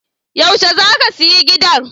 Yaushe za ka sayi gidan?